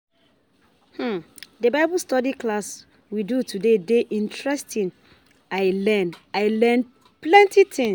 The Bible study class we do today dey interesting, I learn I learn plenty things